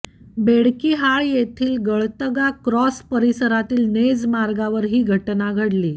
बेडकिहाळ येथील गळतगा क्रॉस परिसरातील नेज मार्गावर ही घटना घडली